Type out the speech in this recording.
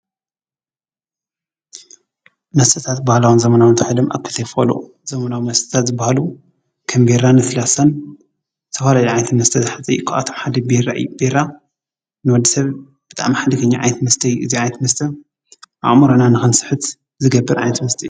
መስተታት ባህላውን ዘመናውን ተባሂሎም ኣብ ክልተ ይኽፈሉ። ዘመናዊ መስተታት ዝበሃሉ ከም ቢራ ለስላሳን ዝተፈላለዩ ዓይነት መስተ ዝሓዘ መስተ እዩ። ካብኣቶም ሓደ ቢራ እዩ። ቢራ ንወዲሰብ ብጣዕሚ ሓደገኛ ዓይነት መስተ እዩ። እዚ ዓይነት መስተ ኣእሙሮና ንክንስሕት ዝገብር ዓይነት መስተ እዩ።